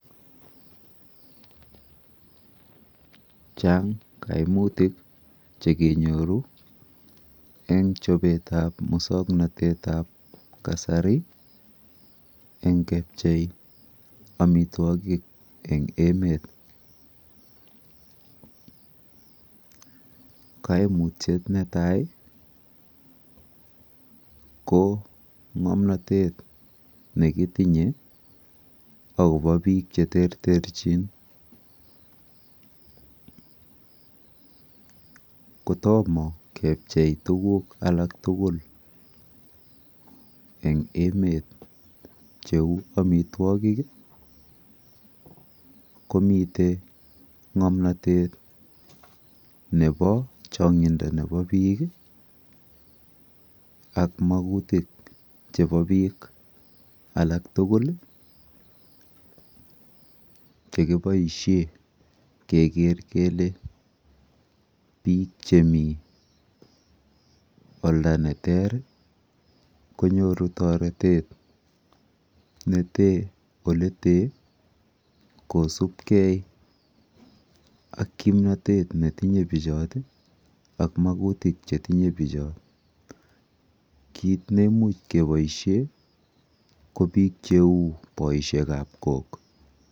Chang kaimutik chekenyoru eng chopetap musoknotetap kasari eng kepchei amitwokik eng emet. Kaimutyet netai ko ng'omnotet nekitinye akopo biik cheterterchin. Kotomo kepchei tuguk alak tugul eng emet cheu amitwokik, komite ng'omnotet nepo chong'indo nepo biik ak makutik chepo biik alaktugul chekiboishe keker kele biik chemi olda neter, konytoru toretet nete oletee kosubkei ak kimnotet netinye bichot ak makutik chetinye bichot. Kit neimuch keboishe ko biik cheu boishekap kok.